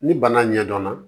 Ni bana ɲɛdɔnna